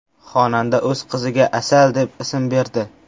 Xonanda o‘z qiziga Asal deb ism berdi.